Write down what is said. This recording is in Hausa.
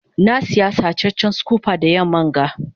na Siya sacecen scooper da yamman ga.